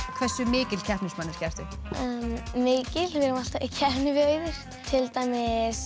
hversu mikil keppnis manneskja ertu mikil við vorum alltaf í keppni við Auður til dæmis